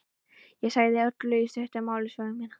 Ég sagði Öllu í stuttu máli sögu mína.